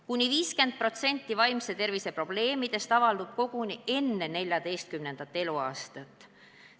Kuni 50% vaimse tervise probleemidest avaldub koguni enne 14. eluaastat.